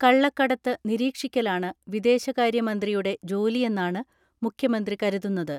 കള്ളക്കടത്ത് നിരീക്ഷിക്കലാണ് വിദേശകാര്യ മന്ത്രിയുടെ ജോലിയെന്നാണ് മുഖ്യമന്ത്രി കരുതുന്നത്.